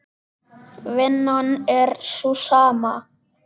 Vinnan er sú sama.